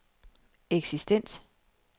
eksistens